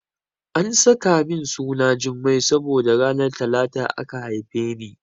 An saka min suna Jummai saboda ranar Talata aka haife ni.